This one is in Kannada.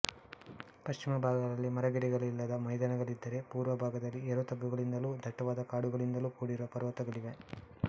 ಪಶ್ಚಿಮ ಭಾಗಗಳಲ್ಲಿ ಮರಗಿಡಗಳಿಲ್ಲದ ಮೈದಾನಗಳಿದ್ದರೆ ಪುರ್ವಭಾಗದಲ್ಲಿ ಏರುತಗ್ಗುಗಳಿಂದಲೂ ದಟ್ಟವಾದ ಕಾಡುಗಳಿಂದಲೂ ಕೂಡಿರುವ ಪರ್ವತಗಳಿವೆ